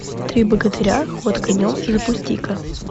три богатыря ход конем запусти ка